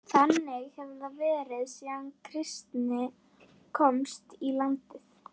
Þannig hefur það verið síðan kristni komst í landið.